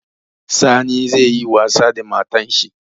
Sani zai yi wasa da matan shi